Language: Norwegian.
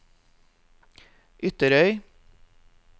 Ytterøy